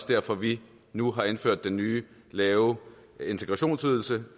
derfor vi nu har indført den nye lave integrationsydelse